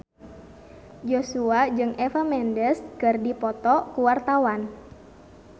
Joshua jeung Eva Mendes keur dipoto ku wartawan